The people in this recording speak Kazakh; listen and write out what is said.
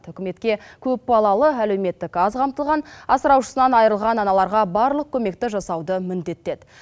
үкіметке көпбалалы әлеуметтік аз қамтылған асыраушысынан айырылған аналарға барлық көмекті жасауды міндеттеді